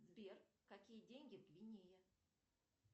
сбер какие деньги в гвинее